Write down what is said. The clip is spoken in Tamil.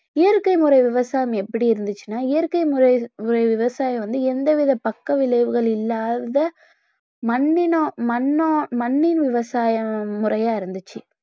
இயற்கை முறை விவசாயம் எப்படி இருந்துச்சுனா இயற்கை முறை விவ~ விவசாயம் வந்து எந்த வித பக்கவிளைவுகள் இல்லாத மண்ணின~ மண்ணோ~ மண்ணின் விவசாய முறையா இருந்துச்சு.